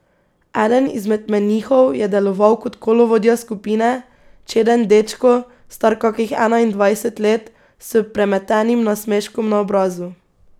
Eden izmed menihov je deloval kot kolovodja skupine, čeden dečko, star kakih enaindvajset let, s premetenim nasmeškom na obrazu.